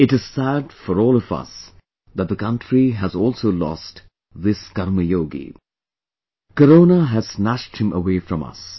It is sad for all of us that the country has also lost this KarmaYogi ; Corona has snatched him away from us